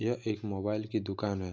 यह एक मोबाईल की दुकान है।